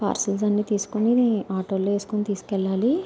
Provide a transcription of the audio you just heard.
Parcels అని తీసుకొని auto లో వేసుకుని తీసుకెళ్లాలి.